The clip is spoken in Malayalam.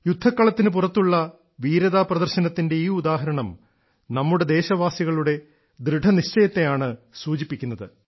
യുദ്ധക്കളത്തിനു പുറത്തുള്ള വീരതാ പ്രദർശനത്തിന്റെ ഈ ഉദാഹരണം നമ്മുടെ ദേശവാസികളുടെ ദൃഢനിശ്ചയത്തെയാണ് സൂചിപ്പിക്കുന്നത്